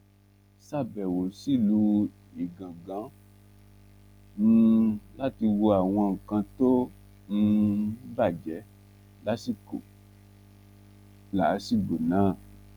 sàbẹ̀wò sílùú igangan um láti wo àwọn nǹkan tó um bàjẹ́ lásìkò làásìgbò náà